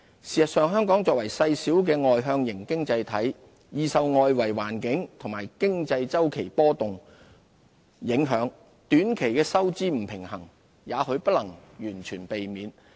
事實上，香港作為細小的外向型經濟體，易受外圍環境和經濟周期波動影響，短期的收支不平衡也許不能完全避免。